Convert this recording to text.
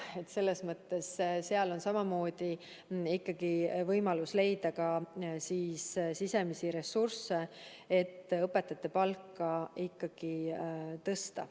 Nii et selles mõttes on nende puhul ikkagi samamoodi võimalik leida ka sisemisi ressursse, mille varal õpetajate palka tõsta.